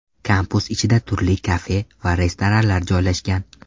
Kampus ichida turli kafe va restoranlar joylashgan.